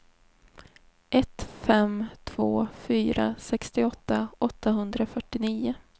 ett fem två fyra sextioåtta åttahundrafyrtionio